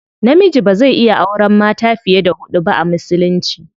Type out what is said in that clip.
Namiji bazai iya auren mata fiye da hudu ba a musulunci.